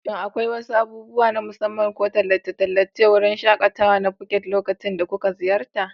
Shin akwai wasu abubuwa na musamman ko tallace-tallace a wurin shaƙatawa na Phuket lokacin da kuka ziyarta?